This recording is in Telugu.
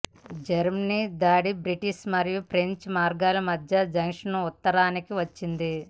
జర్మన్ దాడి బ్రిటిష్ మరియు ఫ్రెంచ్ మార్గాల మధ్య జంక్షన్ ఉత్తరానికి వచ్చింది